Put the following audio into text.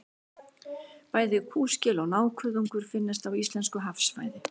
Bæði kúskel og nákuðungur finnast á íslensku hafsvæði.